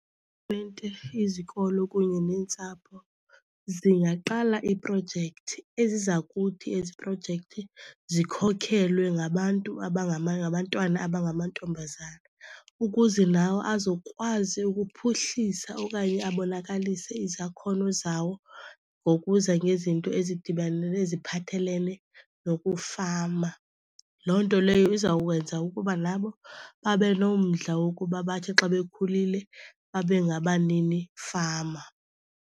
izikolo kunye neentsapho zingaqala iiprojekthi eziza kuthi ezi projekthi zikhokhelwe ngabantu , ngabantwana abangamantombazana, ukuze nawo azokwazi ukuphuhlisa okanye abonakalise izakhono zawo ngokuza ngezinto ezidibanele, eziphathelene nokufama. Loo nto leyo izawukwenza ukuba nabo babe nomdla wokuba bathi xa bekhulile babe ngabaninifama.